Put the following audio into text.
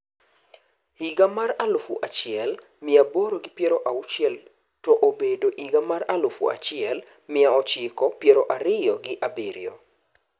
Higa alufu achiel, miaaboro gi piero auchiel to obedo higa mar alufu achiel mia ochiko piero ariyo gi abirio.